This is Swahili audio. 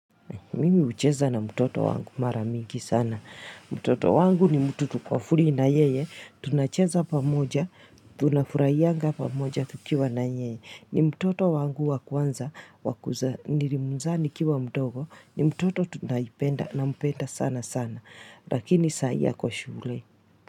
Mimi ucheza na mtoto wangu mara mingi sana. Mtoto wangu ni mtu tuko free na yeye. Tunacheza pamoja, tunafurahiaga pamoja tukiwa na yeye. Ni mtoto wangu wa kwanza, nilimzaa nikiwa mdogo. Ni mtoto tunaipenda nampenda sana sana. Lakini saa hii ako shule.